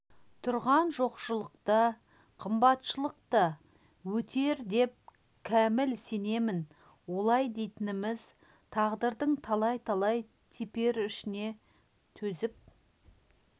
тұрған жоқшылық та қымбатшылық та өтер деп кәміл сенемін олай дейтініміз тағдырдың талай-талай теперішіне төзіп